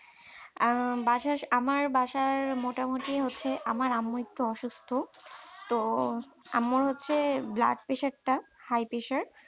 আহ আমার বাসার আমার বাসার মোটামুটি হচ্ছে আমার আম্মু একটু অসুস্থ তো আমার হচ্ছে blood pressure high pressure